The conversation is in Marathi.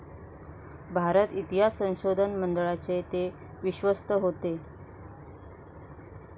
भारत इतिहास संशोधन मंडळाचे ते विश्वस्त होते.